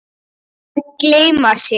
Að gleyma sér